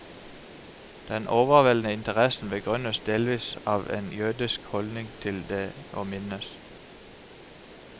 Den overveldende interessen begrunnes delvis av en jødisk holdning til det å minnes.